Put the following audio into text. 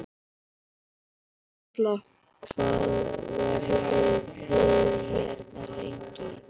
Erla: Hvað verðið þið hérna lengi?